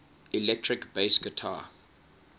electric bass guitar